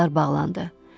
Yollar bağlandı.